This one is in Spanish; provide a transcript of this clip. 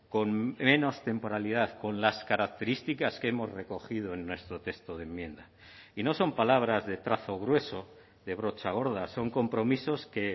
con menos temporalidad con las características que hemos recogido en nuestro texto de enmienda y no son palabras de trazo grueso de brocha gorda son compromisos que